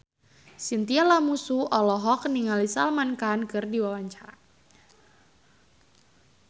Chintya Lamusu olohok ningali Salman Khan keur diwawancara